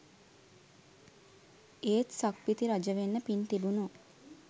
ඒත් සක්විති රජවෙන්න පින් තිබුනු